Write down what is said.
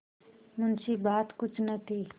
मुंशीबात कुछ न थी